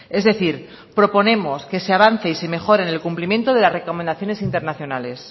es decir proponemos que se avance y se mejore el cumplimiento de las recomendaciones internacionales